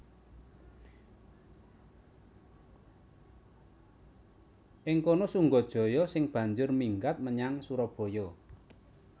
Ing kana Sunggajaya sing banjur minggat menyang Surabaya